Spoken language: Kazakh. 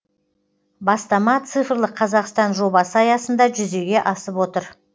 бастама цифрлық қазақстан жобасы аясында жүзеге асып отыр